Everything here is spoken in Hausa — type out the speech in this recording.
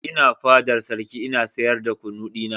Ina fadar sarki ina sayar da kunu dina.